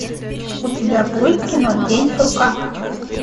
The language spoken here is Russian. у тебя будет кино день сурка